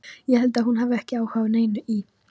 Ég held að hún hafi ekki áhuga á neinu í